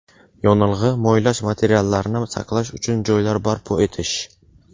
yonilg‘i-moylash materiallarini saqlash uchun joylar barpo etish.